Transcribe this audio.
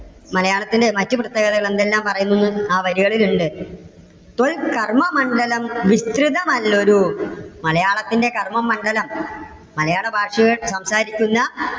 മലയാളത്തിന്റെ മറ്റ് പ്രത്യേകതകൾ എന്തെല്ലാം പറയുന്നുന്നും ആ വരികളിൽ ഉണ്ട്. കർമ്മമണ്ഡലം വിസ്തൃതമല്ലതു. മലയാളത്തിന്റെ കർമ്മമണ്ഡലം മലയാള ഭാഷയിൽ സംസാരിക്കുന്ന